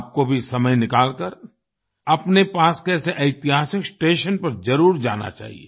आपको भी समय निकालकर अपने पास के ऐसे ऐतिहासिक स्टेशन पर जरुर जाना चाहिए